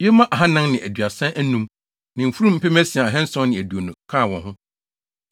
Yoma ahannan ne aduasa anum (435) ne mfurum mpem asia ahanson ne aduonu (6,720) kaa wɔn ho.